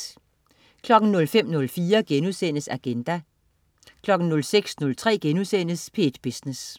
05.04 Agenda* 06.03 P1 Business*